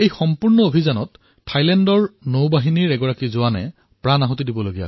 এই সমগ্ৰ অভিযানটোত থাইলেণ্ডৰ নৌসেনাৰ এজন সৈন্যই নিজৰ জীৱনো হেৰুৱাবলগীয়া হল